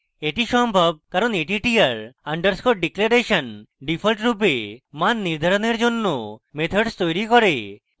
এটি সম্ভব কারণ attr _ declaration ডিফল্টরূপে মান নির্ধারণের জন্য methods তৈরী করে